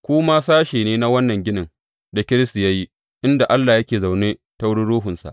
Ku ma sashe ne na wannan ginin da Kiristi ya yi inda Allah yake zaune ta wurin Ruhunsa.